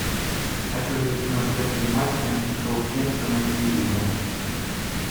хочу увидеть трансляцию матча саутгемптона и ливера